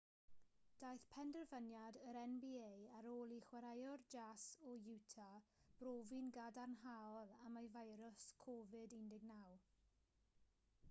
daeth penderfyniad yr nba ar ôl i chwaraewr jas o utah brofi'n gadarnhaol am y feirws covid-19